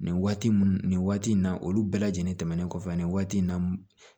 Nin waati mun nin waati in na olu bɛɛ lajɛlen tɛmɛnen kɔfɛ nin waati in na